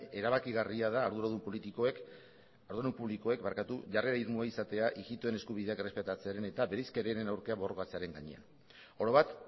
erabakigarria da arduradun publikoek jarrera irmoa izatea ijitoen eskubideak errespetatzearen eta bereizkeriaren aurka borrokatzearen gainean oro bat